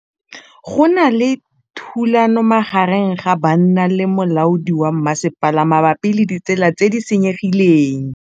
Go na le thulanô magareng ga banna le molaodi wa masepala mabapi le ditsela tse di senyegileng.